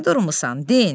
Nə durmusan, den!